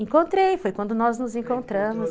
Encontrei, foi quando nós nos encontramos.